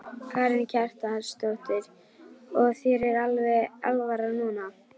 Karen Kjartansdóttir: Og þér er alveg alvara núna?